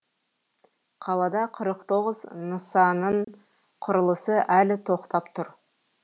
қалада қырық тоғыз нысанның құрылысы әлі тоқтап тұр